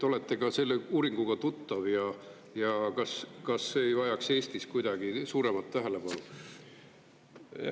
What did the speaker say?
Olete ka selle uuringuga tuttav ja kas see ei vajaks Eestis kuidagi suuremat tähelepanu?